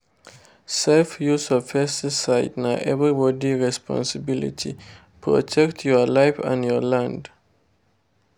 safe use of pesticide na everybody responsibility—protect your life and your land.